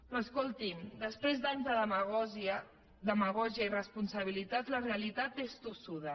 però escolti’m després d’anys de demagògia i irresponsabilitat la realitat és tossuda